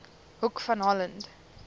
hoek van holland